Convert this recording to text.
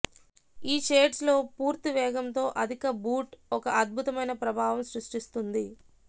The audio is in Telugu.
ఈ షేడ్స్ లో పూర్తి వేగంతో అధిక బూట్ ఒక అద్భుతమైన ప్రభావం సృష్టిస్తుంది